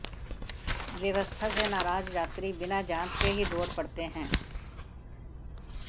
व्यवस्था से नाराज यात्री बिना जांच के ही दौड़ पड़ते हैं